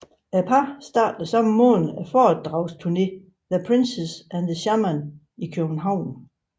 Parret startede samme måned foredragsturnéen The Princess and The Shaman i København